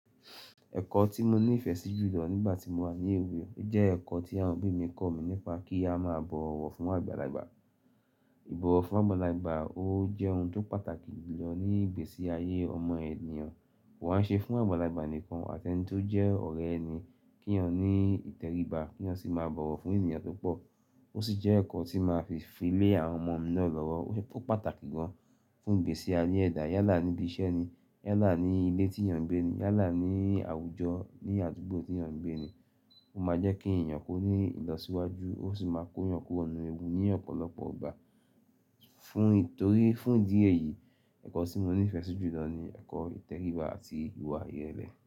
Ẹ̀kọ́ tí mo ní ìfẹ́ sí jùlọ nígbà tí mo wà ní èwe ojẹ́ ẹ̀kọ́ tí àwọn òbí mi kọ̀ mí nípa kí a má bọ̀wọ̀ fún àgbàlagbà. Íbọ̀wọ̀ fún àgbàlagbà o jẹ́ ohun tó pàtàkì jùlọ ní ìgbésí ayé ọmọ ènìyàn. Wàá ṣe fún àgbàlagbà nìkan àti ẹni tó jẹ́ ọ̀rẹ́ ẹni kí èèyàn ní ìtẹríba kí wọ́n sì máa bọ̀wọ̀ fún ènìyàn tó pọ̀. Ó sì jẹ́ ẹ̀kọ́ tí máa fi fílé àwọn ọmọ mi náà lọ́wọ́. Ó pàtàkì gan fún ìgbésí ayé ẹ̀dá yálà níbi iṣẹ́ ni, yálà ní ilé tí èèyàn ń gbé ni, yálà ní àwùjọ ní àdúgbò tí èèyàn ń gbé ni. Ó máa jẹ́ kí ẹ̀yàn kó ní ìlọsíwájú ó sì máa kóyàn kúrò nínú ewu ní ọ̀pọ̀lọpọ̀ igbà. Fún torí fún ìdí èyí, ẹ̀kọ́ tí mo ní ìfẹ́ sí jùlọ ni ẹ̀kọ́ ìtẹríba àti ìwà ìrẹ̀lẹ̀